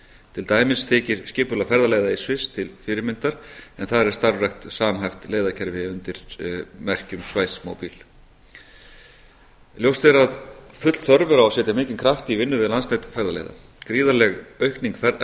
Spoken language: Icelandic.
til dæmis þykir skipulag ferðaleiða í sviss til fyrirmyndar en þar er starfrækt samhæft leiðakerfi undir merkjum schweizmobil ljóst er að full þörf er á að setja mikinn kraft í vinnu við landsnet ferðaleiða gríðarleg aukning